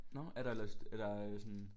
Nå er der eller sådan